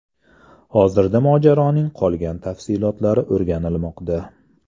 Hozirda mojaroning qolgan tafsilotlari o‘rganilmoqda.